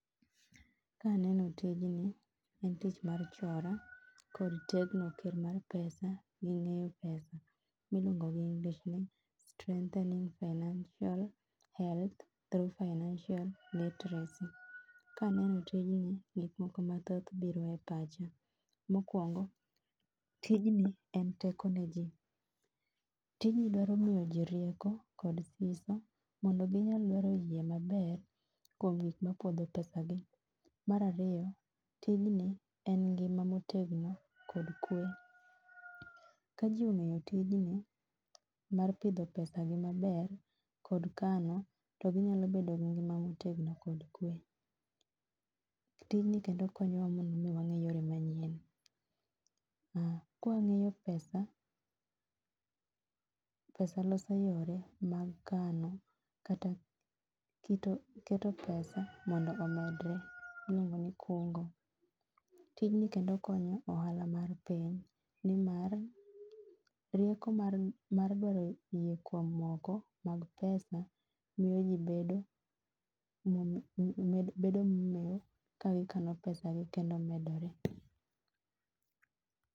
Kaneno tijni en tich mar chora kod tegno ken mar pesa gi ng'eyo pesa miluongogi English ni strengthening financial health through financial literacy. Kaneno tijni gik moko mathoth biro e pacha, mokuongo ijni en teko ne jii, tijni dwaro miyo jii rieko kod siso mondo ginyal manyo yie maber kuom gik mapodho pesagi. Mar ariyo tijni en ngima motegno kod kwe. Ka jii ong'eyo tijni mar pidho pesagi maber kod kano to ginyalo bedo gi ngima motegno kod kwe. Tijni kendo konyowa mondo wang'e yore manyien ma, ka wangeyo pesa, pesa loso yore mag kano kata kito, keto pesa mondo omedre, iluongo ni kungo. Tijni bende konyo ohala mar piny nimar rieko mar mar goyoyie kuom moko mag pesa miyo ji bedo, bedo momeo kagikano pesagi kendo medore